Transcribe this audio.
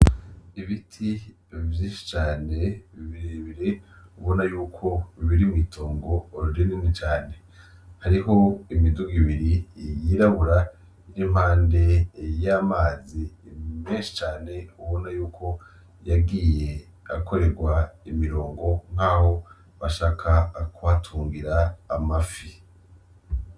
Ibiti vyinshi cane birebire ubona yuko biri mw'itongo rinini cane ,hariho imidugo ibiri yirabura ir'impande y'amazi menshi cane ubona yuko yagiye arakorerwa imirongo nkaho bashaka kuhatungira amafi.